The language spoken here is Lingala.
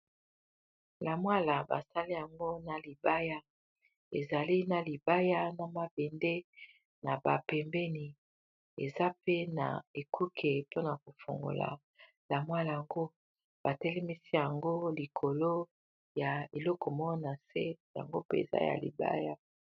Lamwala basali yango na libaya ezali na libaya na mabende na ba pembeni eza pe na ekuke mpona kofongola lamwala yango, ba telemisi yango likolo ya eloko moko na se yango mpe za ya libaya.